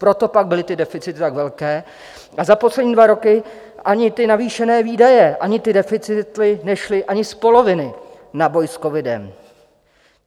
Proto pak byly ty deficity tak velké a za poslední dva roky ani ty navýšené výdaje, ani ty deficity nešly ani z poloviny na boj s covidem.